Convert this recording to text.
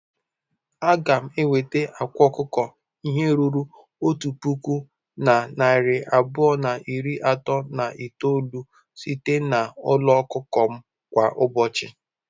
A ga m enweta akwa ọkụkọ ihe ruru otu puku na narị abụọ na iri atọ na itoolu site na n'ụlọ ọkụkọ kwa ụbọchị?